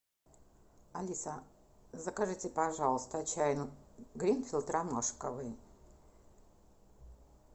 алиса закажите пожалуйста чай гринфилд ромашковый